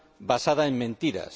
basada en mentiras.